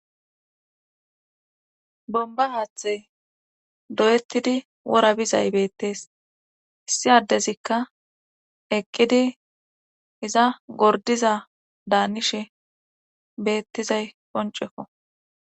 Bomba aaththe doyettidi wora bizay beettees issi addezikka eqqidi iza gordiza daanishe beettizay qonceko.